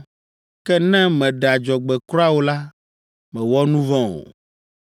Ke ne mèɖe adzɔgbe kura o la, mèwɔ nu vɔ̃ o.